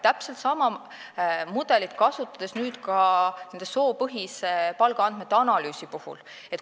Täpselt sama mudelit kasutame nüüd ka soopõhise palgaandmete analüüsi puhul.